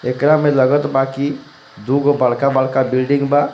एकरा में लगत बा की दुगो बड़का-बड़का बिल्डिंग बा.